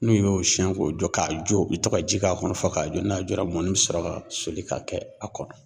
N'u y'o siyɛn k'o ja k'a jɔ , u bɛ to ka ji k'a kɔnɔ fɔ k'a jɔ, n'a jɔra mɔni bɛ sɔrɔ ka soli ka kɛ a kɔrɔ.